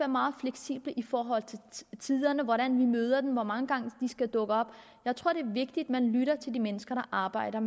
meget fleksible i forhold til hvordan vi møder dem og hvor mange gange de skal dukke op jeg tror det vigtigt at man lytter til de mennesker der arbejder